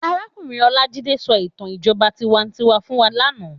Àrákúnrín Olajide sò itàn ijòbá tiwántiwá fún wá làná